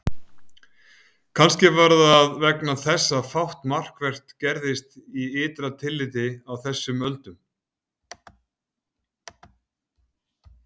Kannski var það vegna þess að fátt markvert gerðist í ytra tilliti á þessum öldum.